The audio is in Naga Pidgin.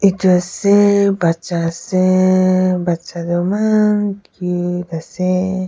Etu ase bacha ase bacha tuh eman cute ase.